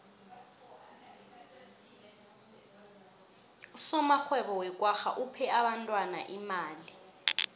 usomarhwebo wekwagga uphe abentwana imali